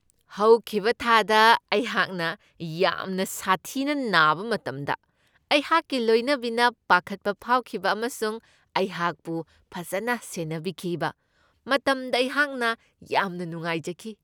ꯍꯧꯈꯤꯕ ꯊꯥꯗ ꯑꯩꯍꯥꯛꯅ ꯌꯥꯝꯅ ꯁꯥꯊꯤꯅ ꯅꯥꯕ ꯃꯇꯝꯗ ꯑꯩꯍꯥꯛꯀꯤ ꯂꯣꯏꯅꯕꯤꯅ ꯄꯥꯈꯠꯄ ꯐꯥꯎꯈꯤꯕ ꯑꯃꯁꯨꯡ ꯑꯩꯍꯥꯛꯄꯨ ꯐꯖꯅ ꯁꯦꯟꯅꯕꯤꯈꯤꯕ ꯃꯇꯝꯗ ꯑꯩꯍꯥꯛꯅ ꯌꯥꯝꯅ ꯅꯨꯡꯉꯥꯏꯖꯈꯤ ꯫